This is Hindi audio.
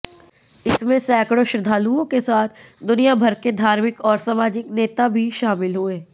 इसमें सैकड़ों श्रद्धालुओं के साथ दुनियाभर के धार्मिक और सामाजिक नेता भी शामिल हुए